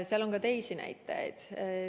Aga on ka teisi näitajaid.